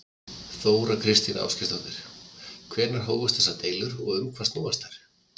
Þóra Kristín Ásgeirsdóttir: Hvenær hófust þessar deilur og um hvað snúast þær?